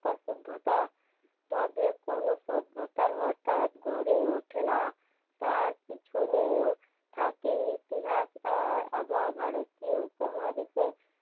সভ্যতা তবে কোনো সভ্যতার হঠাৎ গড়ে ওঠেনা তার পিছনেও থাকে ইতিহাস আর ভারতীয় উপমহাদেশে